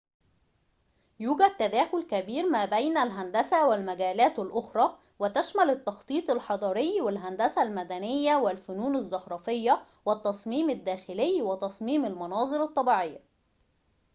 يوجد تداخل كبير ما بين الهندسة والمجالات الأخرى وتشمل التخطيط الحضري والهندسة المدنية والفنون الزخرفية والتصميم الداخلي وتصميم المناظر الطبيعية